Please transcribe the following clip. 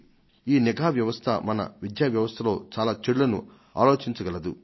ఈ నిఘా వ్యవస్థ మన విద్యా వ్యవస్థలో చాలా లోటుపాట్లను తగ్గించగలుగుతుంది